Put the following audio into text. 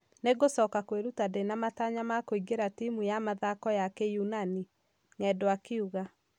Ningũcoka kwiruta ndĩna matanya makũingira timu ya mathako ma kĩyunani " Ng'endo akiuga